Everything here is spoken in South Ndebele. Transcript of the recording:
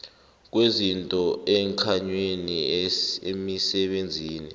kwezinto emkhanyweni emisebenzini